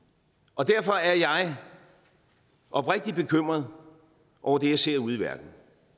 og derfor er jeg oprigtigt bekymret over det jeg ser ude i verden